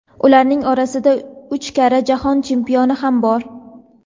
ularning orasida uch karra Jahon chempioni ham bor.